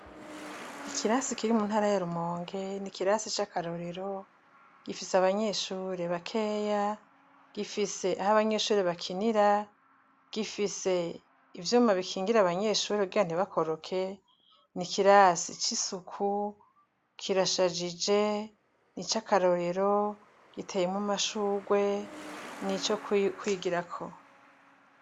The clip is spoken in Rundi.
Ikirasi kiri muntara ya rumonge n'ikirasi cakarorero, gifise abanyeshure bakeya, gifise aho abanyeshure bakinira, gifise imvyuma bikingira abanyeshure kugira ntibakoroke, n'ikirasi c'isuku kirashajije, nicakarorero giteyemwo amashurwe, nico kwigirako.